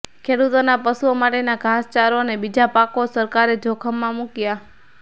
ખેડૂતોના પશુઓ માટેના ઘાસચારો અને બીજા પાકો સરકારે જોખમમાં મૂકયા